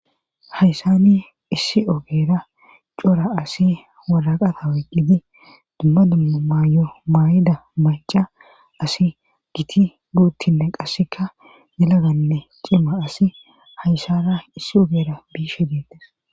Hayssani issi ogeera cora asi waraqata wayqqidi dumma dumma maayo maayida maca asi giti buuttinne qasseka nilaganne cima asi hayssana issi ogera biishe dinte..